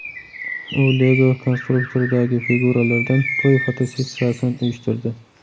U Lego konstruktoridagi figuralardan to‘y fotosessiyasini uyushtirdi.